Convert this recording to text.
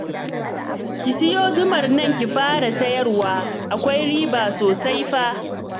Ki sayo zumar nan ki fara sayarwa, akwai riba sosai fa